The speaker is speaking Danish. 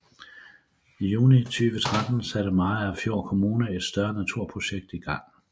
I juni 2013 satte Mariagerfjord Kommune et større naturplejeprojekt i gang